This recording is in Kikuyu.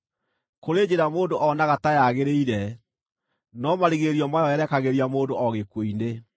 Kũrĩ njĩra mũndũ onaga ta yagĩrĩire, no marigĩrĩrio mayo yerekagĩria mũndũ o gĩkuũ-inĩ.